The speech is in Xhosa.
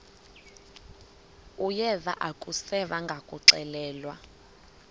uyeva akuseva ngakuxelelwa